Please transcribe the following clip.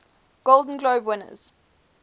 golden globe winners